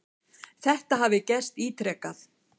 Þetta hafi gerst ítrekað.